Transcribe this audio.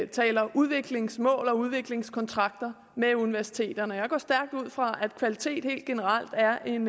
taler udviklingsmål og udviklingskontrakter med universiteterne og jeg går stærkt ud fra at kvalitet helt generelt er en